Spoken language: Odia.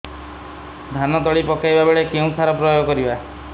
ଧାନ ତଳି ପକାଇବା ବେଳେ କେଉଁ ସାର ପ୍ରୟୋଗ କରିବା